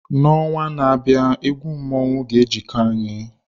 N'ọnwa na-abịa egwu mmọnwụ ga-ejiko anyị.